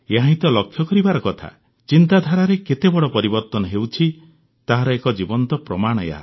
ଏହାହିଁ ତ ଲକ୍ଷ୍ୟ କରିବାର କଥା ଚିନ୍ତାଧାରାରେ କେତେ ବଡ଼ ପରିବର୍ତ୍ତନ ହେଉଛି ତାହାର ଏହା ଏକ ଜୀବନ୍ତ ପ୍ରମାଣ